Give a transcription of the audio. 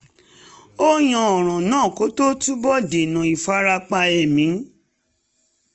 ó yanjú ọ̀ràn náà kó tó túbọ̀ dènà ìfarapa ẹ̀mí